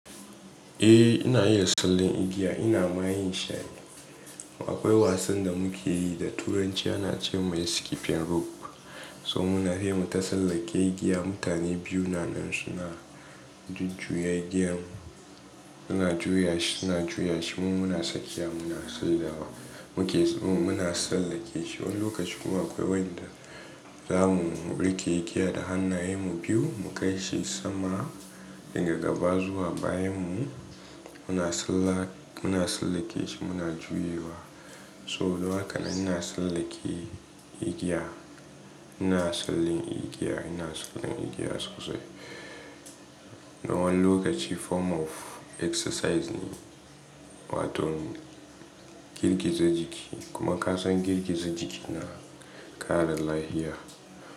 Eh ina iya sallen igiya, ina ma yin shi ai. Akwai wasan da muke yi da turanci ana ce mai skipping rope. So muna yi muta sallake igiya, mutane biyu nanan suna jujjuyya igiyan, suna juya shi, suna juya shi mu muna sakiya muna sallewa. Mu ke muna sallake shi. Wani lokaci kuma akwai wanda za mu rike igiya da hannayen mu biyu mu kai shi sama, daga gaba zuwa bayan mu muna salla muna sallake shi muna juyawa. So don haka nan ina sallake igiya, ina sallin igiya, ina sallan igiya sosai. Na wani lokaci form of exercise ne, wato girgiza jiki kuma kasan girgiza jiki na kara lafiya.